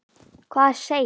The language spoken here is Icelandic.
Hvað er seil?